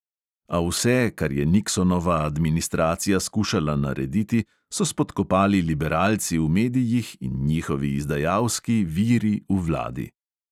A vse, kar je niksonova administracija skušala narediti, so spodkopali liberalci v medijih in njihovi izdajalski "viri" v vladi.